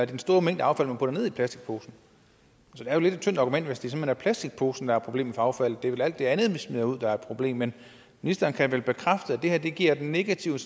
den store mængde affald man putter ned i plastikposen så det er lidt af et tyndt argument hvis det simpelt hen er plastikposen der er problemet for affaldet det vel alt det andet vi smider ud der er et problem men ministeren kan vel bekræfte at det her giver et negativt